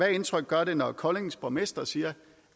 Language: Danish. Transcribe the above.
indtryk gør det når koldings borgmester siger